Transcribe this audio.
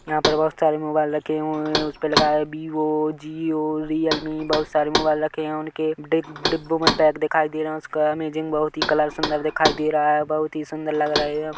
यहाँ पर बहुत सारे मोबाइल रखे हुए हैं उस पे लिखा हैं वीवो जिओ रीअलमी बहुत सारे मोबाइल रखे हैं उनके डि डिब्बो में पेक दिखाई दे रहा हैं उसका अमेजिंग बहुत ही कलर सुन्दर दिखाई दे रहा हैं बहुत ही सुन्दर लग रहे हैं।